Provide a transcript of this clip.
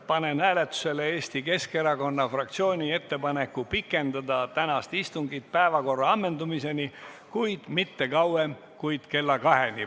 Panen hääletusele Eesti Keskerakonna fraktsiooni ettepaneku pikendada tänast istungit päevakorra ammendumiseni, kuid mitte kauem kui kella kaheni.